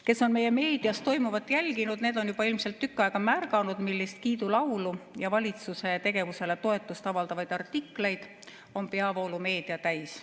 Kes on meie meedias toimuvat jälginud, need on ilmselt tükk aega märganud, millist kiidulaulu ja valitsuse tegevusele toetust avaldavaid artikleid on peavoolumeedia täis.